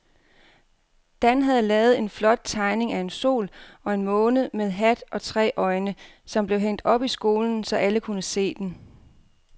Dan havde lavet en flot tegning af en sol og en måne med hat og tre øjne, som blev hængt op i skolen, så alle kunne se den.